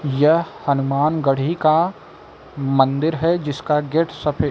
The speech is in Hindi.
यह हनुमानगढ़ी का मंदिर है जिसका गेट सफेद--